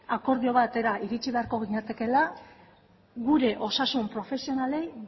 akordio batera iritsi beharko ginatekeela gure osasun profesionalei